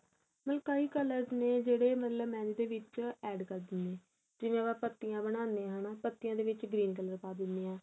ਮਤਲਬ ਕਈ colors ਨੇ ਜਿਹੜੇ ਮਤਲਬ mehendi ਦੇ ਵਿੱਚ add ਕਰਦੇ ਨੇ ਜਿਵੇਂ ਆਪਾਂ ਪਤੀਆਂ ਬਣਾਨੇ ਆ ਹਨਾ ਪਤੀਆਂ ਦੇ ਵਿੱਚ green color ਪਾ ਦਿਨੇ ਆ